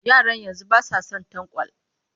Yaran yanzu ba sa son tanƙwal